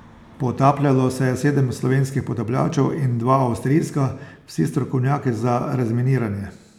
Potapljalo se je sedem slovenskih potapljačev in dva avstrijska, vsi strokovnjaki za razminiranje.